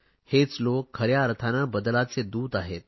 हेच लोक खऱ्या अर्थाने बदलाचे दूत आहेत